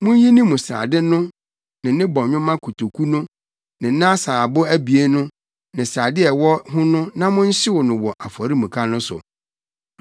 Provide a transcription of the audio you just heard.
Munyi ne mu srade no ne ne bɔnwoma kotoku no ne ne asaabo abien no ne srade a ɛwɔ ho no na monhyew no wɔ afɔremuka no so.